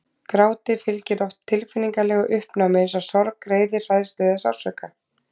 Gráti fylgir oft tilfinningalegu uppnámi eins og sorg, reiði, hræðslu eða sársauka.